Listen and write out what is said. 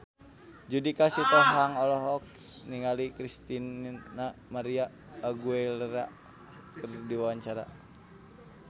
Judika Sitohang olohok ningali Christina María Aguilera keur diwawancara